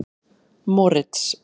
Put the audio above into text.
Moritz